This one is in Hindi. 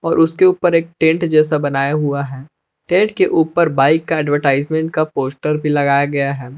उसके ऊपर एक टेंट जैसा बनाया हुआ है टेंट के ऊपर बाइक का एडवर्टाइजमेंट का पोस्टर भी लगाया गया है।